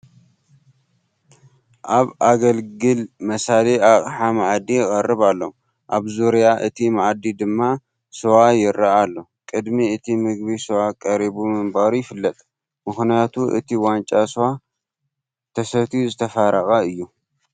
ኣብ ኣገልግል መሳሊ ኣቕሓ መኣዲ ይቕረብ ኣሎ፡፡ ኣብ ዙርያ እቲ መኣዲ ድማ ስዋ ይርአ ኣሎ፡፡ ቅድሚ እቲ ምግቢ ስዋ ቀሪቡ ምንባሩ ይፍለጥ፡፡ ምኽንያቱ እቲ ዋንጫ ስዋ ተሰትዩ ዝተፋረቐ እዩ፡፡